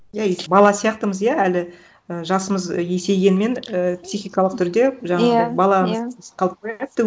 иә бала сияқтымыз иә әлі і жасымыз есейгенмен ііі психикалық түрде иә жаңағыдай иә баламыз